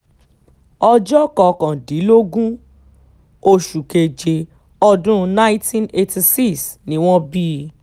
ọjọ́ kọkàndínlógún oṣù keje ọdún nineteen eighty six ni wọ́n bí i